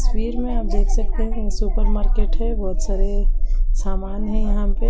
तस्वीर में आप देख सकते हैं ये सुपर मार्केट है बहोत सारे सामान है यहां पे।